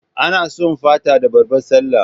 Ana sum Fata da babbar Sallah